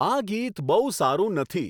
આ ગીત બહુ સારું નથી